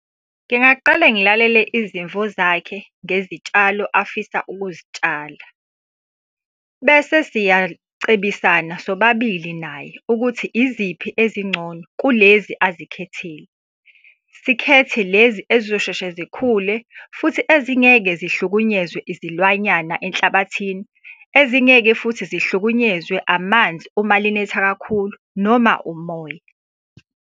Ngingaqale ngilalele izimvu zakhe ngezitshalo afisa ukuzitshala. Bese siyacebisana sobabili naye ukuthi iziphi ezingcono kulezi azikhethile. Sikhethe lezi ezizoshesha zikhule, futhi ezingeke zihlukunyezwe izilwanyana enhlabathini, ezingeke futhi zihlukunyezwe amanzi uma linetha kakhulu, noma umoya.